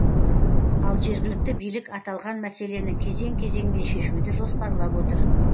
ал жергілікті билік аталған мәселені кезең кезеңмен шешуді жоспарлап отыр